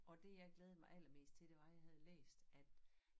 Og det jeg glædede mig allermest til det var jeg havde læst at